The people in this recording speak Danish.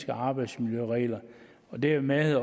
arbejdsmiljøregler dermed